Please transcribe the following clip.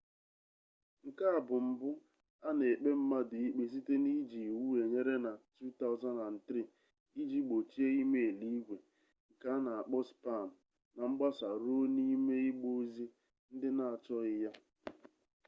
nke a bụ mbụ a na-ekpe mmadụ ikpe site n'iji iwu enyere na 2003 iji gbochie e-mail igwe nke a na-akpọ spam na mgbasa ruo n'ime igbe ozi ndị na-achọghị ya